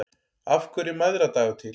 Af hverju er mæðradagur til?